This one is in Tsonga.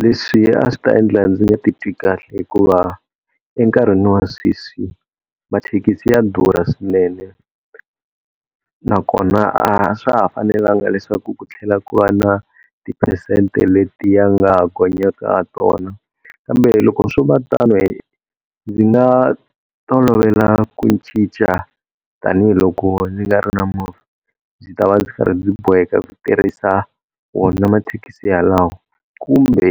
Leswi a swi ta endla ndzi nga titwi kahle hikuva enkarhini wa sweswi mathekisi ya durha swinene, nakona a swa ha fanelanga leswaku ku tlhela ku va na tiphesente leti ya nga gonyaka ha tona. Kambe loko swo va tano, ndzi nga tolovela ku cinca tanihiloko ndzi nga ri na movha. Ndzi ta va ndzi karhi ndzi boheka ku tirhisa wona mathekisi yalawo, kumbe